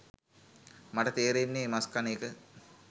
මට තේරෙන්නේ මස් කන එක